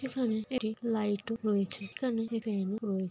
এখানে একটি লাইট -ও রয়েছে এখানে একটি ফেন -ও রয়ে-